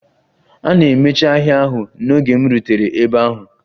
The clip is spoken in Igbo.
A na-emechi ahịa ahụ n'oge m rutere ebe ahụ.